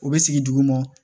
U bɛ sigi dugu ma